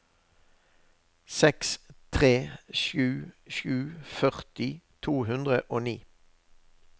seks tre sju sju førti to hundre og ni